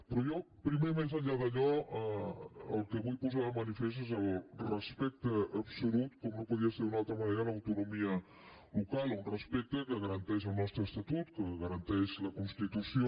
però jo primer més enllà d’allò el que vull posar de manifest és el respecte absolut com no podia ser d’una altra manera a l’autonomia local un respecte que garanteix el nostre estatut que garanteix la constitució